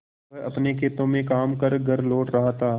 वह अपने खेतों में काम कर घर लौट रहा था